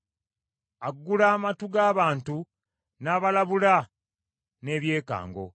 aggula amatu g’abantu, n’abalabula n’ebyekango,